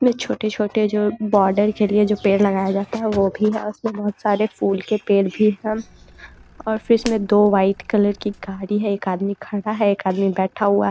इसमें छोटे-छोटे जो बॉर्डर के लिए जो पेड़ लगाया जाता हैं वो भी है और उसमें बहुत सारे फूल के पेड़ भी है और फिर उसमे दो वाइट कलर की गाड़ी है एक आदमी खड़ा है एक आदमी बैठा हुआ --